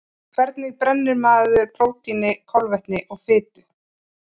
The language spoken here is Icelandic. Hvernig brennir maður prótíni, kolvetni og fitu?